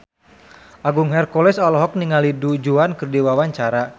Agung Hercules olohok ningali Du Juan keur diwawancara